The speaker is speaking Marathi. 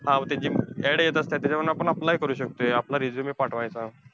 हा त्यांची add येत असत्यात. त्याच्यावरनं आपण apply करू शकतोय. आपला resume पाठवायचा.